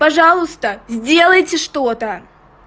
пожалуйста сделайте что-то